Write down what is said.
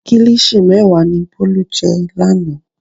Kílíṣì mẹ́wàá ni Bólú jẹ lánàá.